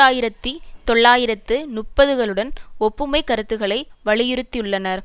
ஆயிரத்தி தொள்ளாயிரத்து முப்பது களுடன் ஒப்புமை கருத்துக்களை வலியுறுத்தியுள்ளனர்